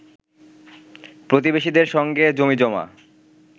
প্রতিবেশীদের সঙ্গে জমিজমা